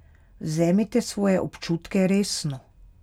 Vzemite svoje občutke resno.